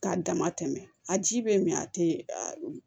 K'a dama tɛmɛ a ji bɛ min a tɛ